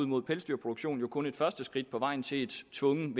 mod pelsdyrproduktion jo kun et første skridt på vejen til et tvungent